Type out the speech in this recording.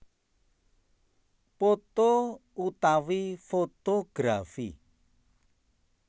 Poto utawi fotografi